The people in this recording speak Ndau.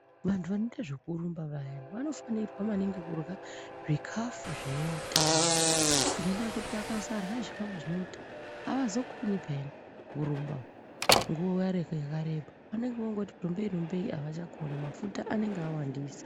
Vantu vanoite zvekurumba vaya vanofanirwa maningi kurya zvikafu zvine utano, ngendaa yekuti vakasarya zvikafu zvineutano avazokoni peyani kurumba nguwa yakareba. Vanenge vongoti rumbei rumbei avachakoni mafuta anenge awandisa.